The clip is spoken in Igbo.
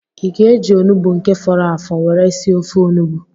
Ị ga-eji onugbu nke fọrọ afọ were sie ofe onugbu?